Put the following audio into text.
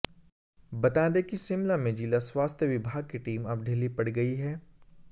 बता दें कि शिमला में जिला स्वास्थ्य विभाग की टीम अब ढीली पड़ गई है